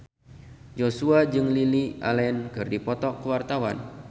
Joshua jeung Lily Allen keur dipoto ku wartawan